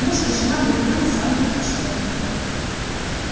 муж и жена были люди самые почтённые